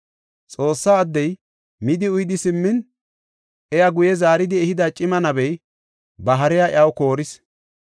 Xoossa addey midi uyidi simmin iya guye zaaridi ehida cima nabey ba hariya iyaw kooris.